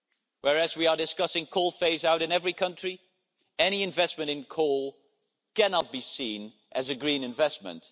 While we are discussing the phasing out of coal in every country, any investment in coal cannot be seen as a green investment.